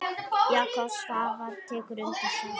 Jakob Svavar tekur undir það.